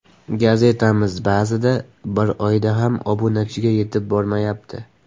Gazetamiz ba’zida bir oyda ham obunachiga yetib bormayapti.